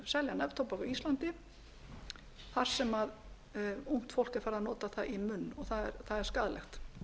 selja neftóbak á íslandi þar sem ungt fólk er farið að nota það í munn það er skaðlegt